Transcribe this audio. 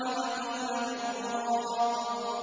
وَقِيلَ مَنْ ۜ رَاقٍ